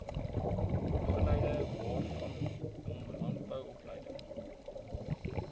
opleidingwaarvanom landbou opleiding